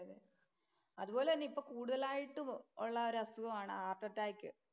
അതുപോലെതന്നെ ഇപ്പോൾ കൂടുതലായിട്ടും ഉള്ള ഒരു അസുഖമാണ് ഹാര്‍ട്ട് അറ്റാക്ക്.